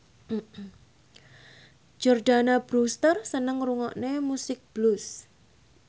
Jordana Brewster seneng ngrungokne musik blues